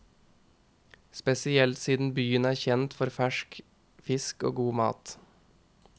Spesielt siden byen er kjent for fersk fisk og god mat.